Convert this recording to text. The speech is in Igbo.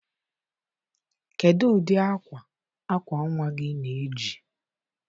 Kedu ụdị akwa akwa nwa gị na-eji?